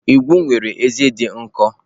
Ikwo nwere ezé dị nkọ.